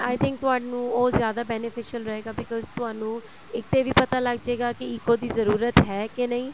i think ਤੁਹਾਨੂੰ ਉਹ ਜਿਆਦਾ beneficial ਰਹੇਗਾ because ਤੁਹਾਨੂੰ ਇੱਕ ਤੇ ਇਹ ਵੀ ਪਤਾ ਲੱਗਜੇਗਾ ਕਿ ECO ਦੀ ਜ਼ਰੂਰਤ ਹੈ ਕੇ ਨਹੀਂ